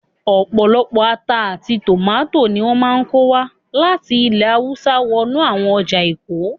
Ọ̀pọ̀lọpọ̀ ata àti tòmátò ni wọ́n máa ń kó wá láti ilè hawúsá wọnú àwọn ọjà èkó